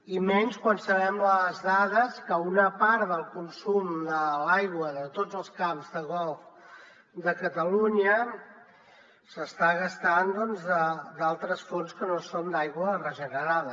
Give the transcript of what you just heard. i menys quan sabem les dades que una part del consum de l’aigua de tots els camps de golf de catalunya s’està gastant d’altres fonts que no són d’aigua regenerada